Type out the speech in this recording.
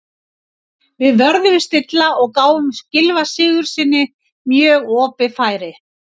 Við vörðumst illa og gáfum Gylfa Sigurðssyni mjög opið færi.